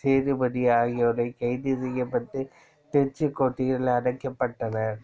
சேதுபதி ஆகியோர் கைது செய்யப்பட்டுத் திருச்சிக் கோட்டையில் அடைக்கப்பட்டனர்